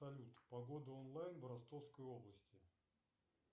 салют погода онлайн в ростовской области